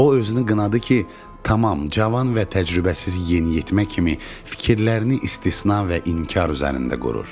O özünü qınadı ki, tamam cavan və təcrübəsiz yeniyetmə kimi fikirlərini istisna və inkar üzərində qurur.